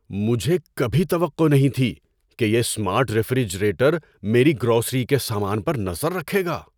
مجھے کبھی توقع نہیں تھی کہ یہ اسمارٹ ریفریجریٹر میری گروسری کے سامان پر نظر رکھے گا۔